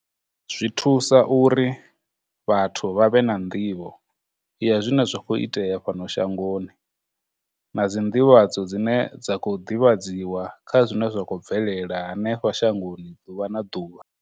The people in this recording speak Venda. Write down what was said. Zwi thusa uri vhathu vha vhe na nḓivho ya zwine zwa khou itea fhano shangoni, na dzinḓivhadzo dzine dza khou ḓivhadziwa kha zwine zwa khou bvelela hanefha shangoni ḓuvha na ḓuvha.